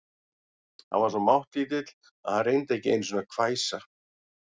Hann var svo máttlítill að hann reyndi ekki einu sinni að hvæsa.